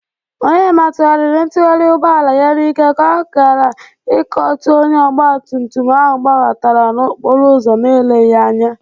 Onyema tụgharïrị ntugharị ugbọala ya n'ike ka ọ gara ikotu onye ọgbatụmtụm ahụ gbabatara n'okporo ụzọ n'eleghi anya.